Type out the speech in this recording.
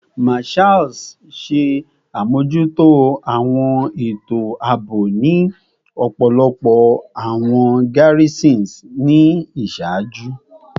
Marshals ṣe amojuto awọn eto aabo ni ọpọlọpọ awọn garrisons ni iṣaaju